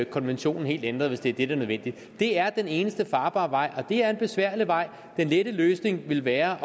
konventionen helt ændret hvis det er det der er nødvendigt det er den eneste farbare vej og det er en besværlig vej den lette løsning vil være